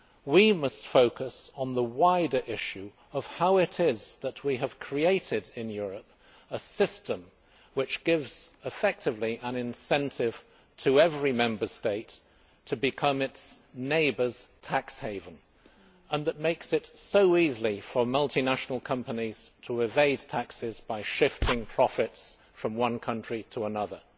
We must focus on the wider issue of how it is that we have created, in Europe, a system which gives effectively an incentive to every Member State to become its neighbour's tax haven, and that makes it so easy for multinational companies to evade taxes by shifting profits from one country to another.